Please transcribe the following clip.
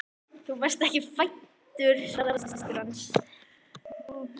Þú varst ekki fæddur svaraði systir hans.